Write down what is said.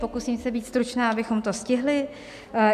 Pokusím se být stručná, abychom to stihli.